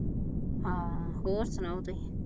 ਹਾਂ ਹੋਰ ਸੁਣਾਓ ਤੁਹੀ